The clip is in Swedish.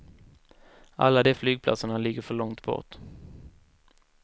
Alla de flygplatserna ligger för långt bort.